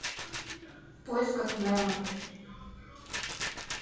в поисках немо